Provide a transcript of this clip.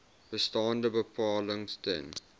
bestaande bepalings ten